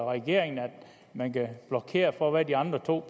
regeringen at man kan blokere for hvad de andre to